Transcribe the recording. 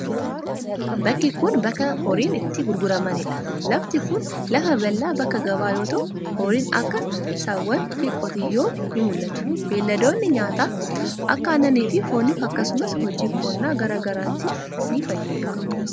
Bakki kun, bakka gabaa horiin itti gurguramanii dha. Lafti kun, lafa bal'aa bakka gabaa yoo ta'u, horiin akka sa; aa, eeffanaa fi qotiyoo ni mul'atu. Beeyiladoonni nyaata akka aannanii fi fooniif akkasumas hojii qonnaa garaa garaatif ni fayyadu.